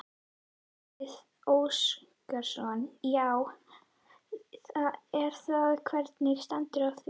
Gísli Óskarsson: Já er það, hvernig stendur á því?